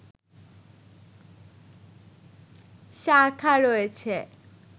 শাখা রয়েছে